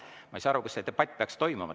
Ma ei saa aru, kus see debatt peaks toimuma.